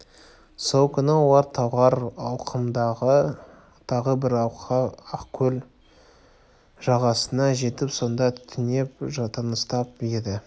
сол күні олар талғар алқымындағы тағы бір алқа ақкөл жағасына жетіп сонда түнеп тыныстап еді